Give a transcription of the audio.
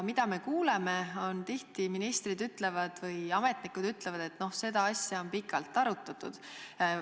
Me oleme kuulnud, et ministrid ja muud ametnikud ütlevad, et no seda asja on pikalt arutatud.